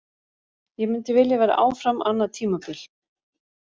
Ég myndi vilja vera áfram annað tímabil.